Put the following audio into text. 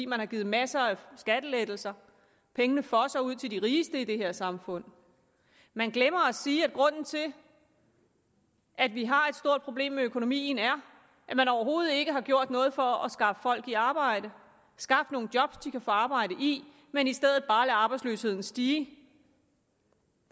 man har givet masser af skattelettelser pengene fosser ud til de rigeste i det her samfund man glemmer at sige at grunden til at vi har et stort problem med økonomien er at man overhovedet ikke har gjort noget for at skaffe folk i arbejde skaffe nogle job de kan få arbejde i men i stedet bare har ladet arbejdsløsheden stige